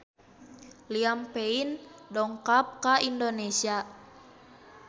Liam Payne dongkap ka Indonesia